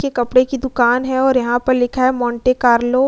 के कपड़े की दुकान है और यहाँ पर लिखा है मोंटे कार्लो --